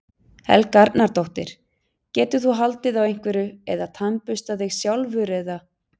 Helga Arnardóttir: Getur þú haldið á einhverju eða tannburstað þig sjálfur eða?